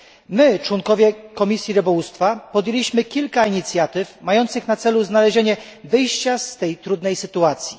My członkowie Komisji Rybołówstwa podjęliśmy kilka inicjatyw mających na celu znalezienie wyjścia z tej trudnej sytuacji.